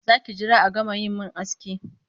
Za ki jira a gama yi min aski?